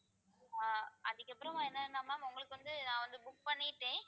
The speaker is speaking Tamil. ஆஹ் அதுக்கப்புறம் என்னன்னா ma'am உங்களுக்கு வந்து நான் வந்து book பண்ணிட்டேன்